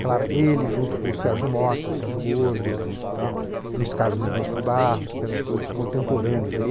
Claro, ele junto com o Sérgio Mota, o Sérgio Gordo, Luís Carlos Mendonça de Barros, que eram todos contemporâneos.